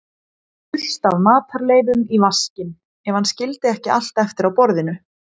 fullt af matarleifum í vaskinn, ef hann skildi ekki allt eftir á borðinu.